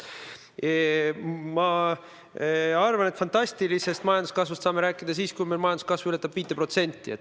Ma arvan, et fantastilisest majanduskasvust saame rääkida siis, kui majanduskasv ületab 5%.